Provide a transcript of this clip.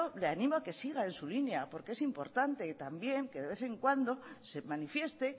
le animo a que siga en su línea porque es importante y también que de vez en cuanto se manifieste